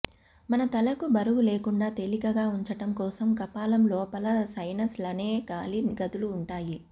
మన తలను బరువులేకుండా తేలికగా ఉంచడం కోసం కపాలం లోపల సైనస్ లనే గాలి గదులు ఉంటాయి